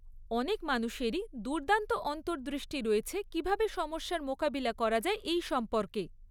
অনেক মানুষেরই দুর্দান্ত অন্তর্দৃষ্টি রয়েছে কীভাবে সমস্যার মোকাবিলা করা যায় এই সম্পর্কে।